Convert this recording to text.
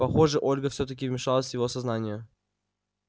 похоже ольга всё-таки вмешалась в его сознание